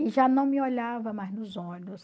E já não me olhava mais nos olhos.